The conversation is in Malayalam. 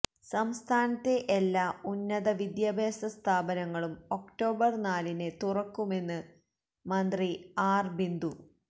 സംസ്ഥാനത്തെ എല്ലാ ഉന്നത വിദ്യാഭ്യാസ സ്ഥാപനങ്ങളും ഒക്ടോബര് നാലിന് തുറക്കുമെന്ന് മന്ത്രി ആര് ബിന്ദു